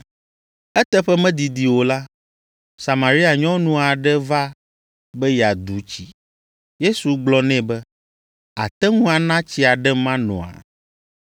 Eteƒe medidi o la, Samaria nyɔnu aɖe va be yeadu tsi. Yesu gblɔ nɛ be, “Àte ŋu ana tsi aɖem manoa?”